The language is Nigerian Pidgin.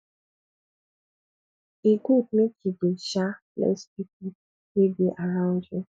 e good make you dey um bless pipu wey dey around you